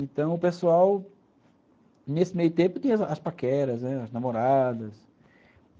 Então, o pessoal, nesse meio tempo, tinha as paqueras, né, as namoradas.